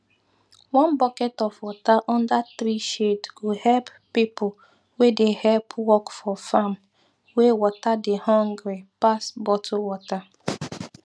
one bucket of water under tree shade go help pipo wey dey help work for farm wey water dey hungry pass bottle water